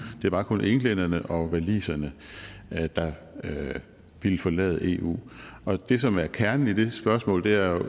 det var kun englænderne og waliserne der ville forlade eu og det som er kernen i det spørgsmål er jo at